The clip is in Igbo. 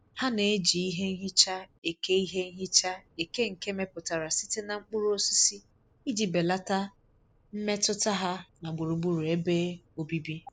Ha na-eji ihe nhicha eke ihe nhicha eke nke emeputara site na mkpuru osisi iji belata mmetụta ha na gburugburu ebe obibi.